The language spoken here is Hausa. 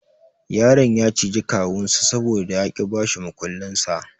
Yaron ya ciji kawunsa saboda ya ki ya bashi mukullinsa.